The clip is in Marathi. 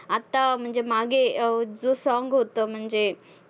आत्ता म्हणजे मागे अं जो song होतं, म्हणजे